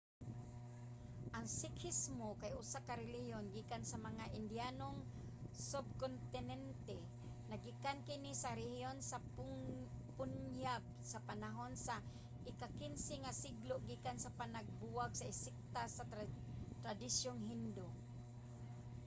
ang sikhismo kay usa ka relihiyon gikan sa mga indiyanong sub-kontinente. naggikan kini sa rehiyon sa punjab sa panahon sa ika-15 nga siglo gikan sa panagbuwag sa sekta sa tradisyong hindu